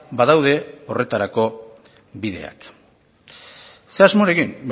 badaude horretarako bideak ze asmorekin